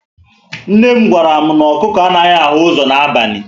Nne m gwara m,na ọkụkọ anaghị ahụ ụzọ na abali